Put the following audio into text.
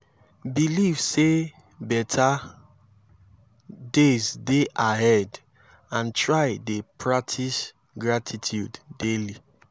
belive say beta days dey ahead and try dey practice gratitude daily